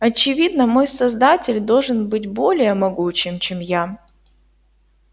очевидно мой создатель должен быть более могучим чем я